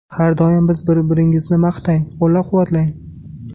Har doim bir-biringizni maqtang, qo‘llab-quvvatlang.